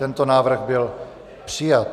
Tento návrh byl přijat.